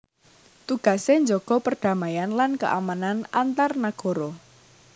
Tugasé njaga perdamaian lan keamanan antar nagara